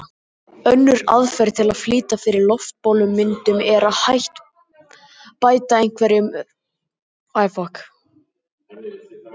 Önnur aðferð til að flýta fyrir loftbólumyndun er að bæta einhverju hrufóttu út í gosdrykkinn.